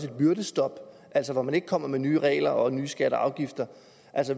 et byrdestop altså at man ikke kommer med nye regler og nye skatter og afgifter